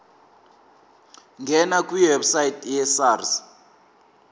ngena kwiwebsite yesars